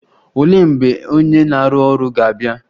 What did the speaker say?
Olee mgbe onye na-arụ ọrụ ga-abịa?